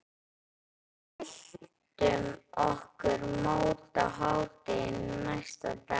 Við mæltum okkur mót á hádegi næsta dag.